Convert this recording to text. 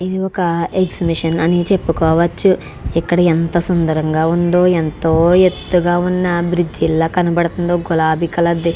ఇది ఒక ఎక్సిబిషన్ అని చేపవాచు. ఇక్కడ ఎంత సుందరంగా ఉందో ఎంతో ఎత్తుగా ఉన్న బ్రిడ్జీ లా కనబడుతుందో గులాబి కలర్ ది --